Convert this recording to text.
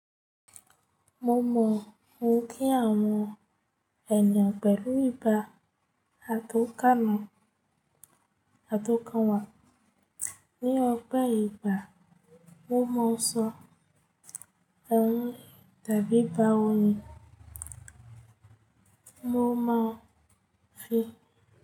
Mo mọ ohun tí àwọn ènìyàn pẹ̀lú ibà àtọ̀kànwá. Ni ọpẹ ìgbà mo máa ń sọ ẹ́hun tàbí bá oyin mo máa fi.